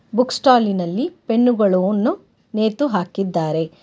Book stall ನಲ್ಲಿ ಪೆನ್ನುಗಳನ್ನು ನೇತು ಹಾಕಿದ್ದಾರೆ.